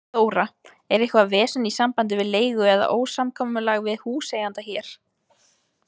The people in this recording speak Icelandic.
Þóra: Er eitthvað vesen í sambandi við leigu eða ósamkomulag við húseiganda hér?